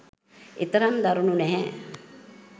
එතරම් දරුණු නැහැ